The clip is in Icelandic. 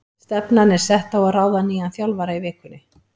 Stefnan er sett á að ráða nýjan þjálfara í vikunni.